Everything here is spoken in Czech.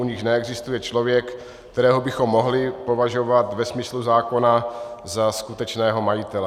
U nich neexistuje člověk, kterého bychom mohli považovat ve smyslu zákona za skutečného majitele.